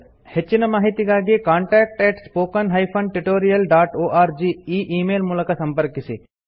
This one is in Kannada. ಹೆಚ್ಚಿನ ಮಾಹಿತಿಗಾಗಿ ಕಾಂಟಾಕ್ಟ್ spoken tutorialorg ಈ ಈ ಮೇಲ್ ಮೂಲಕ ಸಂಪರ್ಕಿಸಿ